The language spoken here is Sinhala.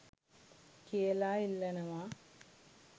කියලා ඉල්ලනවා